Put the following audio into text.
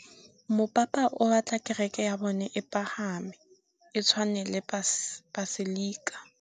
Mopapa o batla kereke ya bone e pagame, e tshwane le paselika.